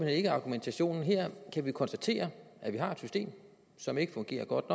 ikke argumentationen her kan vi konstatere at vi har et system som ikke fungerer godt